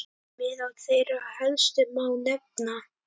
Meðal þeirra helstu má nefna